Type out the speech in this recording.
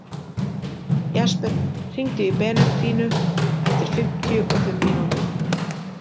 Jesper, hringdu í Benediktínu eftir fimmtíu og fimm mínútur.